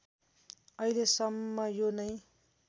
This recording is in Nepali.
अहिलेसम्म यो नै